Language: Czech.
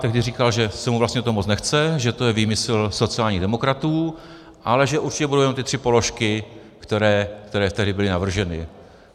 Tehdy říkal, že se mu vlastně do toho moc nechce, že to je výmysl sociálních demokratů, ale že určitě budou jenom ty tři položky, které tehdy byly navrženy.